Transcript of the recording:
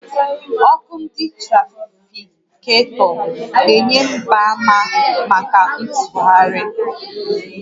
Ọkụ ndị trafiketọ na-enye mgbaàmà màkà ntụgharị